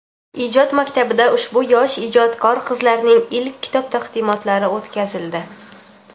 Ijod maktabida ushbu yosh ijodkor qizlarning ilk kitob taqdimotlari o‘tkazildi.